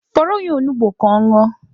Fọrọ ya onugbu ka ọ ñụọ.